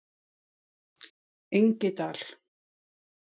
Engidal